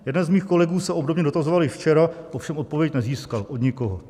Jeden z mých kolegů se obdobně dotazoval i včera, ovšem odpověď nezískal od nikoho.